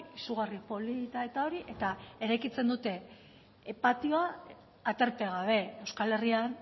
izugarri polita eta hori eta eraikitzen dute patioa aterpe gabe euskal herrian